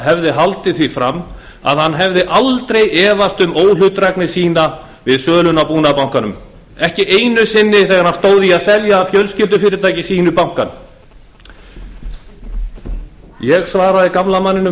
hefði haldið því fram að hann hefði aldrei efast um óhlutdrægni sína við söluna á búnaðarbankanum ekki einu sinni þegar hann stóð í að selja fjölskyldufyrirtæki sínu bankann ég svaraði gamla manninum